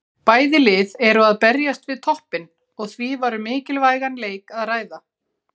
Bæði lið eru að berjast við toppinn og því var um mikilvægan leik að ræða.